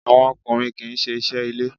Àwọn ọkùnrin kì í ṣe iṣẹ́ ilé.